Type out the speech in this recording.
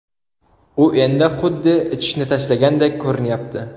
U endi xuddi ichishni tashlagandek ko‘rinyapti”.